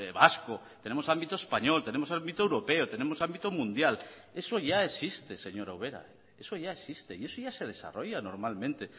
vasco tenemos ámbitos español tenemos ámbito europeo tenemos ámbito mundial eso ya existe señora ubera eso ya existe y eso ya se desarrolla normalmente